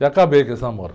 E acabei com esse namoro.